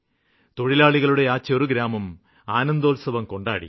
തൊഴിലാളികളുടെ ആ ചെറുഗ്രാമം ആനന്ദോത്സവം കൊണ്ടാടി